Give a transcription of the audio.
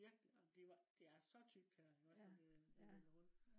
virkelig. og de var de er så tykt her iggås når det vælter rundt